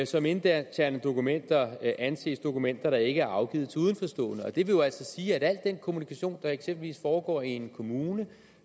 som interne dokumenter anses dokumenter der ikke er afgivet til udenforstående det vil jo altså sige at al den kommunikation der eksempelvis foregår i en kommune